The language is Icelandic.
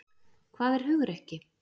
Hvað er hugrekki?